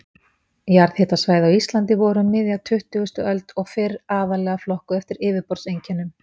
Jarðhitasvæði á Íslandi voru um miðja tuttugustu öld og fyrr aðallega flokkuð eftir yfirborðseinkennum.